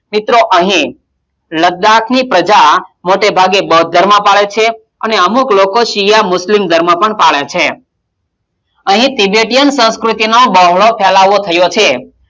મિત્રો, અહી લદ્દાક ની પ્રજા મોટે ભાગે બોદ્ધ ધર્મ પાડે છે અને અમુક લોકો સિયામ - મૂતયૂમ ધર્મ પણ પાડે છે અહીં, ત્રિબેટીયન સંસ્કૃતિનો બહોળો ફેલાવો થયો છે.